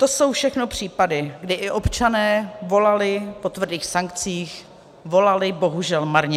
To jsou všechno případy, kdy i občané volali po tvrdých sankcích, volali bohužel marně.